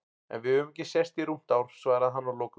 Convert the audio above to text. En við höfum ekki sést í rúmt ár, svaraði hann að lokum.